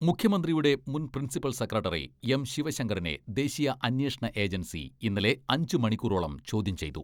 മുഖ്യമന്ത്രിയുടെ മുൻ principal secretary എം.ശിവശങ്കറിനെ ദേശീയ അന്വേഷണ ഏജൻസി ഇന്നലെ അഞ്ച് മണിക്കൂറോളം ചോദ്യം ചെയ്തു.